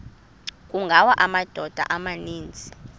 kungawa amadoda amaninzi